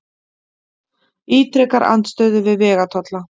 Ítrekar andstöðu við vegatolla